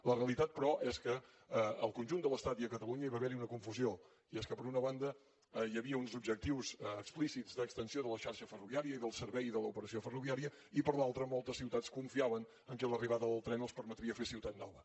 la realitat però és que en el conjunt de l’estat i a catalunya hi va haver una confusió i és que per una banda hi havia uns objectius explícits d’extensió de la xarxa ferroviària i del servei de l’operació ferroviària i per l’altra moltes ciutats confiaven en el fet que l’arribada del tren els permetria fer ciutat nova